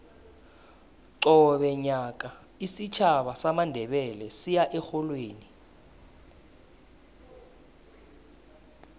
qobe nyaka isitjhaba samandebele siya erholweni